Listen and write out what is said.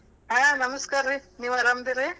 ಹಾ ನಮಸ್ಕಾರ್ರೀ, ನೀವ್ ಆರಾಮ್ ಅದಿರಿ?